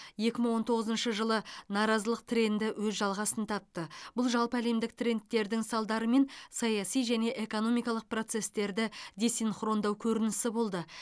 екі мың он тоғызыншы жылы наразылық тренді өз жалғасын тапты бұл жалпы әлемдік трендтердің салдары мен саяси және экономикалық процестерді десинхрондау көрінісі болды